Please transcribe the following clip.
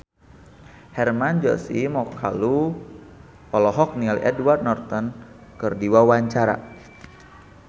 Hermann Josis Mokalu olohok ningali Edward Norton keur diwawancara